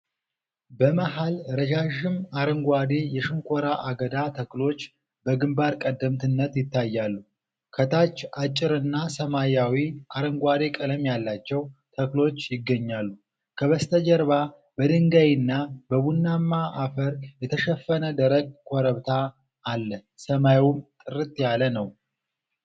በመሃል ረዣዥም አረንጓዴ የሸንኮራ አገዳ ተክሎች በግንባር ቀደምትነት ይታያሉ። ከታች አጭርና ሰማያዊ አረንጓዴ ቀለም ያላቸው ተክሎች ይገኛሉ። ከበስተጀርባ በድንጋይና በቡናማ አፈር የተሸፈነ ደረቅ ኮረብታ አለ፤ ሰማዩም ጥርት ያለ ነው።